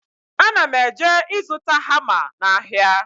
Ana m eje ịzụta hama n'ahịa